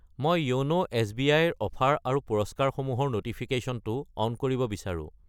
মই য়োন' এছ.বি.আই. ৰ অফাৰ আৰু পুৰস্কাৰসমূহৰ ন'টিফিকেশ্যনটো অন কৰিব বিচাৰো।